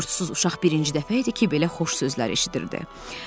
Yurdsusuz uşaq birinci dəfə idi ki, belə xoş sözlər eşidirdi.